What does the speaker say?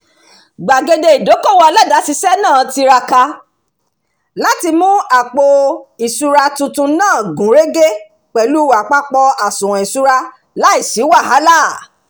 gbàgede ìdókòwò aládàáṣiṣẹ́ náà tiraka láti mú àpò-ìṣúra tuntun náà gúnrégé pẹ̀lú àpapọ̀ àsùwọ̀n ìṣúra láìsí wàhálà